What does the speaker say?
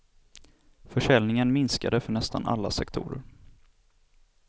Försäljningen minskade för nästan alla sektorer.